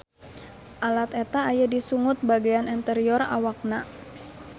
Alat eta aya di sungut bagean anterior awakna.